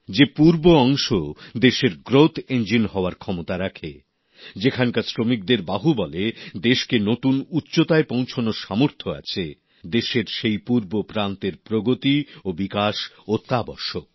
যে পূর্বাঞ্চল দেশের উন্নয়নের চালিকা শক্তি হওয়ার ক্ষমতা রাখে যেখানকার শ্রমিকদের বাহুবলে দেশের নতুন উচ্চতায় পৌঁছনোর সামর্থ্য আছে দেশের সেই পূর্ব প্রান্তের প্রগতি ও বিকাশ অত্যাবশ্যক